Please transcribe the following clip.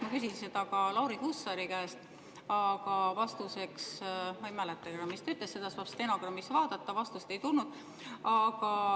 Ma küsisin seda ka Lauri Hussari käest, aga ma ei mäleta, mis ta vastuseks ütles, seda saab stenogrammist vaadata, vastust ei tulnud.